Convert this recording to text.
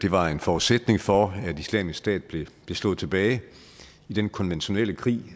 var en forudsætning for at islamisk stat blev slået tilbage i den konventionelle krig